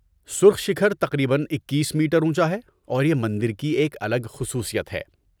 سرخ شکھر تقریباً اکیس میٹر اونچا ہے اور یہ مندر کی ایک الگ خصوصیت ہے